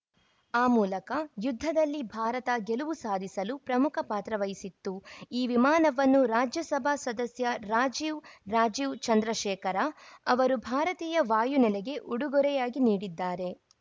ಆ ಮೂಲಕ ಯುದ್ಧದಲ್ಲಿ ಭಾರತ ಗೆಲುವು ಸಾಧಿಸಲು ಪ್ರಮುಖ ಪಾತ್ರವಹಿಸಿತ್ತು ಈ ವಿಮಾನವನ್ನು ರಾಜ್ಯಸಭಾ ಸದಸ್ಯ ರಾಜೀವ್‌ ರಾಜೀವ್‌ ಚಂದ್ರಶೇಖರ್‌ ಅವರು ಭಾರತಿಯ ವಾಯು ನೆಲೆಗೆ ಉಡುಗೊರೆಯಾಗಿ ನೀಡಿದ್ದಾರೆ